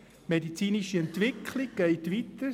Die medizinische Entwicklung geht weiter.